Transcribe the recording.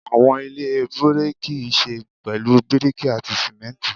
Awọn ile biriki ṣe pẹlu biriki ati simenti